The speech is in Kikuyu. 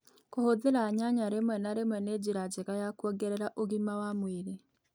Kũhũthira nyanya rĩmwe a rĩmwe nĩ njĩra njega ya kũongerera ũgima wa mwĩrĩ